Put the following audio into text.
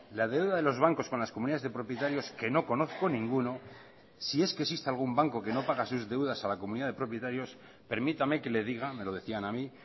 la deuda de los bancos con las comunidades de propietarios que no conozco ninguno si es que existe algún banco que no paga sus deudas a la comunidad de propietarios permítame que le diga me lo decían a mí